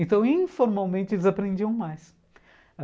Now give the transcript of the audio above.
Então, informalmente, eles aprendiam mais.